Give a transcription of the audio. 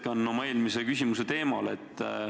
Ma jätkan oma eelmise küsimuse teemal.